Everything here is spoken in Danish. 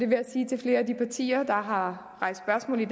vil jeg sige til flere af de partier der har rejst spørgsmål i